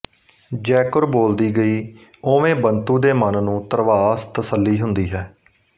ਜੈਕੁਰ ਬੋਲਦੀ ਗਈ ਉਵੇਂ ਬੰਤੂ ਦੇ ਮਨ ਨੂੰ ਧਰਵਾਸ ਤਸੱਲੀ ਹੁੰਦੀ ਹੈ